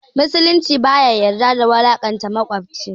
Musulunci baya yadda da wulaƙanta maƙwabci